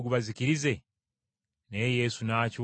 Naye Yesu n’akyuka n’abanenya.